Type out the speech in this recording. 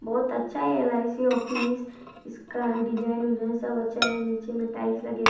बहुत अच्छा है एल_आइ _सी ऑफिस इसका डिज़ाइन विजाइन सब अच्छा है नीचे में टाइल्स लगे हैं।